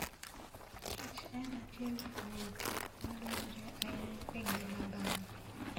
Kich en achiel kuom gik ma dwarore ahinya e ngima dhano.